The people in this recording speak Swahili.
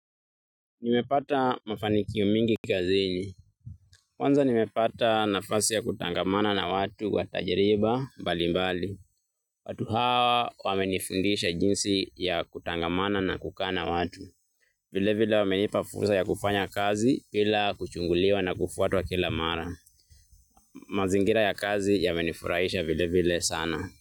Nimepata mafanikio mingi kazini. Kwanza nimepata nafasi ya kutangamana na watu wa tajariba mbali mbali. Watu hawa wamenifundisha jinsi ya kutangamana na kukaa na watu. Vile vile wamenipa fursa ya kufanya kazi bila kuchunguliwa na kufuatwa kila mara. Mazingira ya kazi yamenifurahisha vile vile sana.